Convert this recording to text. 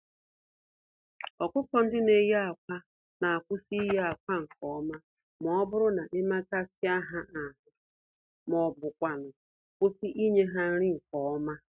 ọkụkọ-ndị-neyi-ákwà n'akwụsị iyi-akwa nke ọma mọbụrụ na emekasịa ha ahụ, m'ọbu kwanụ kwụsị ịnye ha nri nke ọma